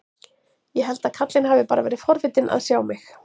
Ég held að karlinn hafi bara verið forvitinn að sjá mig.